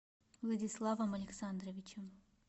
владиславом александровичем